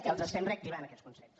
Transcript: que els estem reactivant aquests consells